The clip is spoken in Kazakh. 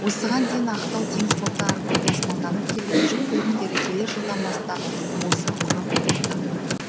осыған дейін ақтау теңіз порты арқылы тасымалданып келген жүк көліктері келер жылдан бастап осы құрық порты